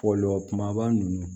Fɔlɔ kumaba ninnu